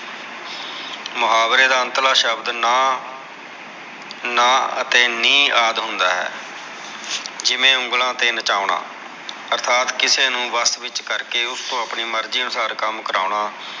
ਮੁਹਾਵਰੇ ਦਾ ਅੰਤਲਾ ਸ਼ਬਦ ਨਾਹ ਨਾਹ ਅਤੇ ਨੀਹ ਆਦਿ ਹੁੰਦਾ ਹੈ ਜਿਵੇ ਉਂਗਲਾ ਤੇ ਨਚਾਉਣਾ ਅਰਥਾਤ ਕਿਸੇ ਨੂ ਵਸ ਵਿਚ ਕਰਕੇ ਓਸ ਤੋਂ ਆਪਣੀ ਮਰਜੀ ਅਨੁਸਾਰ ਕਮ ਕਰਵਾਉਣਾ